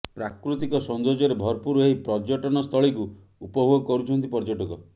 ପ୍ରାକୃତିକ ସୌନ୍ଦର୍ଯ୍ୟରେ ଭରପୁର ଏହି ପର୍ଯ୍ୟଟନସ୍ଥଳୀକୁ ଉପଭୋଗ କରୁଛନ୍ତି ପର୍ଯ୍ୟଟକ